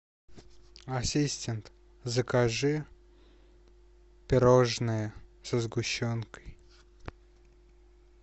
ассистент закажи пирожные со сгущенкой